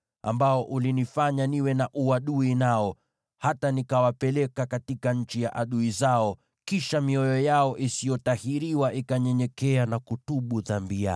ambao ulinifanya niwe na uadui nao hata nikawapeleka katika nchi ya adui zao, wakati mioyo yao isiyotahiriwa itanyenyekea na kutubu dhambi yao,